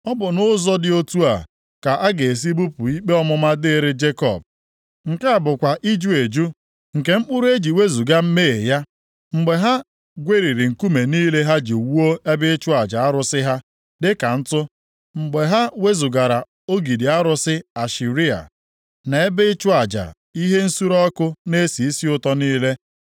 Ọ bụ nʼụzọ dị otu a ka a ga-esi bupụ ikpe ọmụma dịrị Jekọb, nke a bụkwa iju eju nke mkpụrụ e ji wezuga mmehie ya: Mgbe ha gweriri nkume niile ha ji wuo ebe ịchụ aja arụsị ha dịka ntụ, mgbe ha wezugara ogidi arụsị Ashera, na ebe ịchụ aja ihe nsure ọkụ na-esi isi ụtọ niile.